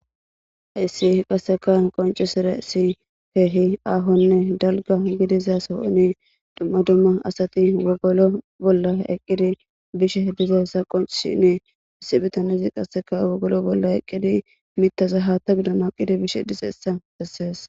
Hessi qonccisizay dalga hatha dizason duma duma asati wogolo boola eqidi bishe dizaysa qoncises issi bitamezi qaseka wogolo boola eqidi mithaza hathan naqides.